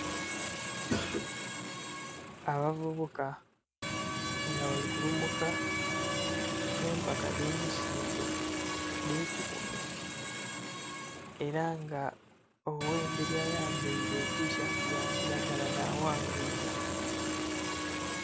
Abavubuka nga bali kulumuka empaka edhe misinde edhe kikumi era nga oghemberi ayambaire etishati ya kiragala na wangwire.